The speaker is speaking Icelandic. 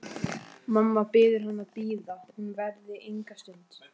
Mamma biður hann að bíða, hún verði enga stund.